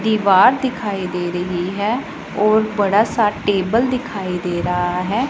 दीवार दिखाई दे रही है और बड़ा सा टेबल दिखाई दे रहा है।